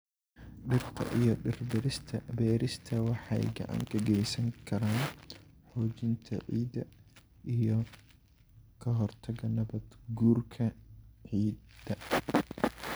Dhirta iyo dhir beerista waxay gacan ka geysan karaan xoojinta ciidda iyo ka hortagga nabaad-guurka ciidda.